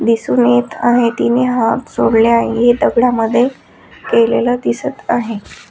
दिसून येत आहे तिने हात जोडले आहे दगडा मध्ये केलेलं दिसत आहे.